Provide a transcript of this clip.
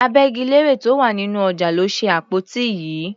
Agbẹ́gilére tó wà nínú ọjà ló ṣe àpótí yìí.